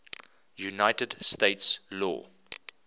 united states law